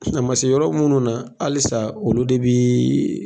A ma se yɔrɔ munnu na halisa olu de bi